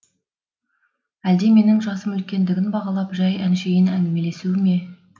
әлде менің жасым үлкендігін бағалап жай әшейін әңгімелесуі ме